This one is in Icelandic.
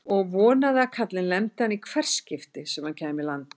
Og vonaði að kallinn lemdi hana í hvert skipti sem hann kæmi í land!